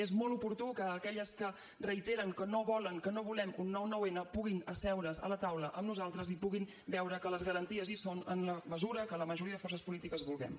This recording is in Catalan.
és molt oportú que aquelles que reiteren que no volen que no volem un nou nou n puguin asseure’s a la taula amb nosaltres i puguin veure que les garanties hi són en la mesura que la majoria de forces polítiques vulguem